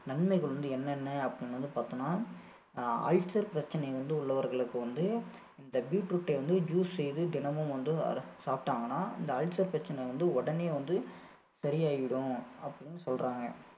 நன்மைகள் வந்து என்னென்ன அப்படின்னு வந்து பார்த்தோம்னா அஹ் அல்சர் பிரச்சனை வந்து உள்ளவர்களுக்கு வந்து இந்த beetroot ஐ வந்து juice செய்து தினமும் வந்து அதை சாப்பிட்டாங்கன்னா இந்த அல்சர் பிரச்சனை வந்து உடனே வந்து சரியாகிவிடும் அப்படின்னு சொல்றாங்க